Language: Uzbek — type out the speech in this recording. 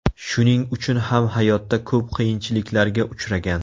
Shuning uchun ham hayotda ko‘p qiyinchiliklarga uchragan.